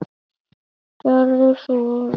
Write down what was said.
Gerðu svo vel.